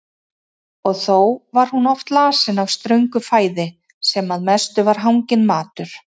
Og þó var hún oft lasin af ströngu fæði sem að mestu var hanginn matur.